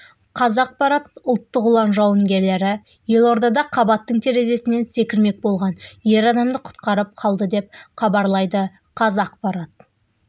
қазақпарат ұлттық ұлан жауынгерлері елордада қабаттың терезесінен секірмек болған ер адамды құтқарып қалды деп хабарлайды қазақпарат